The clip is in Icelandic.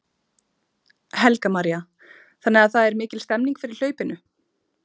Helga María: Þannig að það er mikil stemning fyrir hlaupinu?